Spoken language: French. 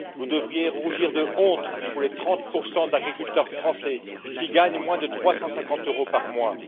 Vous devriez rougir de honte pour les 30 d'agriculteurs français qui gagnent moins de 350 euros par mois.